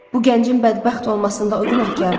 Bu gəncin bədbəxt olmasında o günahkardır.